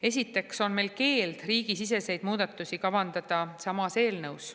Esiteks ei tohi riigisiseseid muudatusi ja Euroopa Liidu õigusest tulenevaid muudatusi kavandada samas eelnõus.